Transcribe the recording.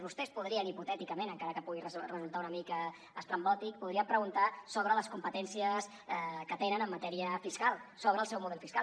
vostès podrien hipotèticament encara que pugui resultar una mica estrambòtic preguntar sobre les competències que tenen en matèria fiscal sobre el seu model fiscal